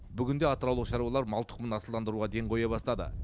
бүгінде атыраулық шаруалар мал тұқымын асылдандыруға ден қоя бастады